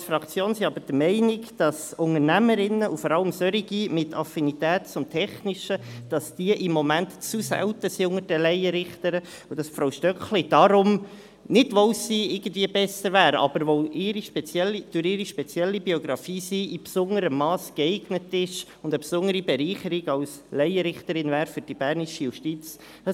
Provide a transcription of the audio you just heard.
Wir als Fraktion sind aber der Meinung, dass Unternehmerinnen, vor allem solche mit Affinität zum Technischen, im Moment unter den Laienrichterinnen zu selten sind, und dass Frau Stöckli deswegen – nicht, weil sie irgendwie besser wäre, aber weil sie durch ihre spezielle Biografie in besonderem Mass geeignet ist – als Laienrichterin eine besondere Bereicherung für die bernische Justiz wäre.